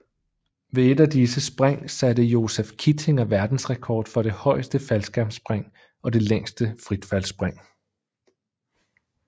Ved et af disse spring satte Joseph Kittinger verdensrekord for det højeste faldskærmsspring og det længste fritfaldsspring